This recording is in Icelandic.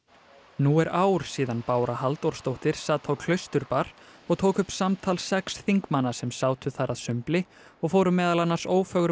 nú er ár síðan Bára Halldórsdóttir sat á Klausturbar og tók upp samtal sex þingmanna sem sátu þar að sumbli og fóru meðal annars